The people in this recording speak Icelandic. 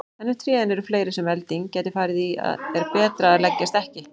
En ef trén eru fleiri sem elding gæti farið í er betra að leggjast ekki.